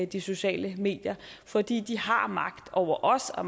de sociale medier for de har magt over os og